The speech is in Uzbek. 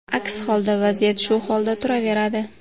Aks holda vaziyat shu holatda turaveradi.